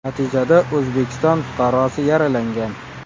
Natijada O‘zbekiston fuqarosi yaralangan.